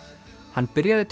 hann byrjaði